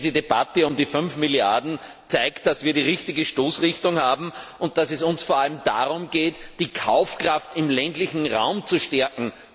Diese Debatte um die fünf Milliarden zeigt, dass wir die richtige Stoßrichtung haben und dass es uns vor allem darum geht, die Kaufkraft im ländlichen Raum zu stärken.